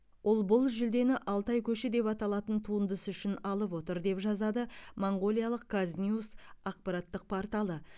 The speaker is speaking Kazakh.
ол бұл жүлдені алтай көші деп аталатын туындысы үшін алып отыр деп жазады моңғолиялық казньюс ақпараттық порталы